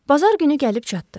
Bazar günü gəlib çatdı.